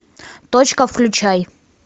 точка включай